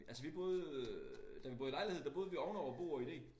Altså vi boede øh da vi boede i lejlighed der boede vi ovenover Bog og Idé